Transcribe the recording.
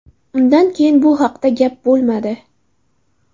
Undan keyin bu haqda gap bo‘lmadi.